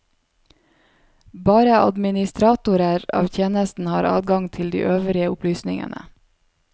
Bare administratorer av tjenesten har adgang til de øvrige opplysningene.